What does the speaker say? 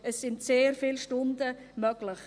Es sind also sehr viele Stunden möglich.